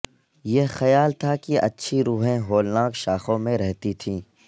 یہ خیال تھا کہ اچھی روحیں ہولناک شاخوں میں رہتی تھیں